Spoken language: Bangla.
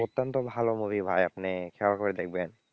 অত্যন্ত ভালো movie ভাই আপনি খেয়াল করে দেখবেন।